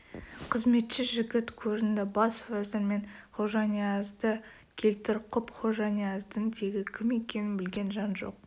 қызметші жігіт көрінді бас уәзір мен хожаниязды келтір құп хожанияздың тегі кім екенін білген жан жоқ